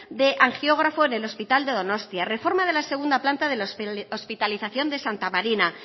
de angiógrafo en el hospital de donostia reforma de la segunda planta de hospitalización de santa marina